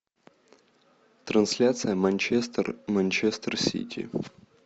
трансляция манчестер манчестер сити